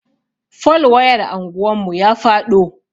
Fol wayar anguwan mu ya faɗo.